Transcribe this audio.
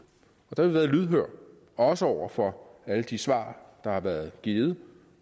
og der været lydhøre også over for alle de svar der har været givet